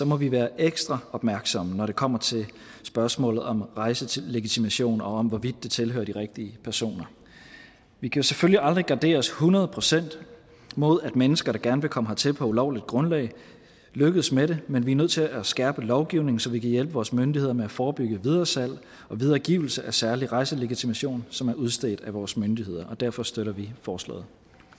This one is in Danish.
må vi være ekstra opmærksomme når det kommer til spørgsmålet om rejselegitimation og om hvorvidt den tilhører de rigtige personer vi kan selvfølgelig aldrig gardere os hundrede procent mod at mennesker der gerne vil komme hertil på ulovligt grundlag lykkes med det men vi er nødt til at skærpe lovgivningen så vi kan hjælpe vores myndigheder med at forebygge videresalg og videregivelse af særlig rejselegitimation som er udstedt af vores myndigheder og derfor støtter vi forslaget